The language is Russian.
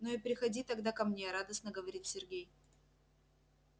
ну и приходи тогда ко мне радостно говорит сергей